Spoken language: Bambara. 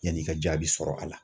Yan'i ka jaabi sɔrɔ a la